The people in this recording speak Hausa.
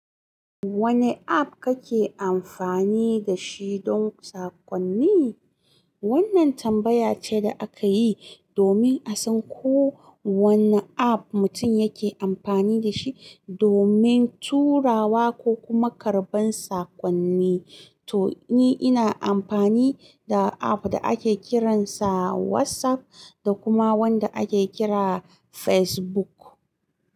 Wanne app kake amfani da shi don sakonni? Wannan tambaya ce da aka yi domin a san ko wanne app mutum yake amfani da shi domin turawa ko kuma karɓan sakonni. To, ni ina amfani da app da ake kiransa WhatsApp da kuma wanda ake kira Facebook.